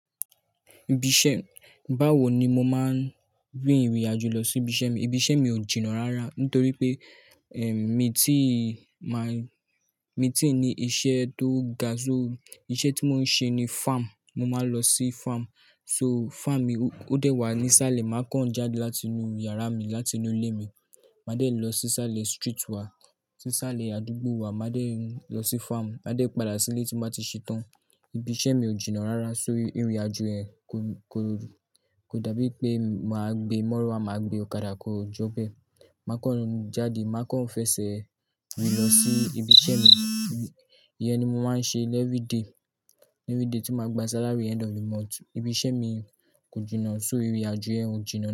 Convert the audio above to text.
Ibí iṣẹ́, báwo ni mo máa ń rìn ìrìnàjò lọ sí ibi iṣẹ́ mi. Ibi iṣẹ́ mi ò jìnnà rárá nítorí pé, ẹm, mi tíì máa, mi tíì ní iṣẹ́ tó ga. So iṣẹ́ tí mò ń ṣe ni farm. Mo máa ń lọ sí farm. So farm mi ó dẹ́wà ní sálẹ̀. Màá kán jáde láti inú yàrá mi, láti inú ilé mi. Màá dẹ̀ lọ sí sálẹ̀ street wa, sí sálẹ̀ àdúgbò wa. Màá dẹ̀ lọ sí farm, màá dẹ̀ padà sílé tí mo bá ti ṣetán. Ibiṣẹ́ mi ò jìnà rárá so ìrìnàjò yẹn kò, kò rù. Kò dàbí pé màá gbé mọ́ruwa, máa gbé ọ̀kadà, kò jọ́ bẹ́ẹ̀. Màá kán jáde, màá kán fẹsẹ̀ rìn lọ sí ibi iṣẹ́ mi. Iyen ni mò máa ń ṣe l every day, every day tí màá gba salary end of the month. Ibi iṣẹ́ mi kò jìnnà, so ìrìnàjò yẹn ò jìnnà.